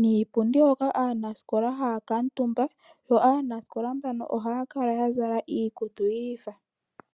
niipundi hoka aanasikola haya kuutumba yo aanasikola mbano ohaya kala ya zala iikutu yiifa.